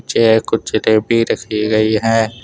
कुछ जलेपी रखी गई है।